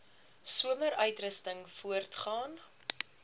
somer uitrusting voortgaan